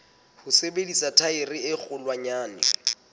ho sebedisa thaere e kgolwanyane